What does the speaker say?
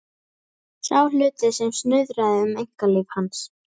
Sá hluti sem snuðraði um einkalíf hans.